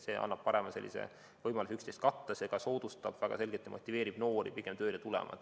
See annab parema võimaluse üksteist katta, see ka väga selgelt soodustab ja motiveerib noori tööle tulema.